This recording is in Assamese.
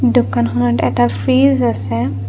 দোকানখনত এটা ফ্ৰিজ আছে।